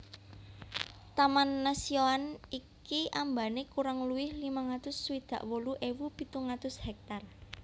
Taman nasioan iki ambane kurang luwih limang atus swidak wolu ewu pitung atus hektar